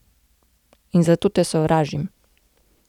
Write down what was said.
In zato te sovražim.